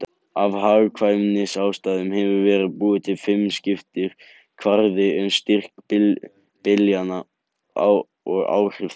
Af hagkvæmnisástæðum hefur verið búinn til fimmskiptur kvarði um styrk byljanna og áhrif þeirra.